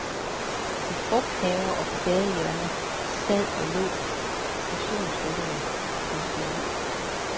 I frugthaver og på gadehjørner sad og lå motionsrytterne og pustede ud.